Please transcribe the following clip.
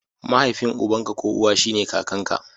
Mahaifin uban ka ko uwa shine kakanka.